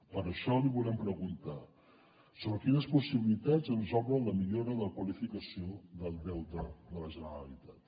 per això li volem preguntar sobre quines possibilitats ens obre la millora de qualificació del deute de la generalitat